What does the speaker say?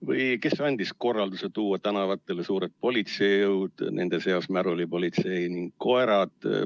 " Või: "Kes andis korralduse tuua tänavatele suured politseijõud, nende seas märulipolitsei ja koerad?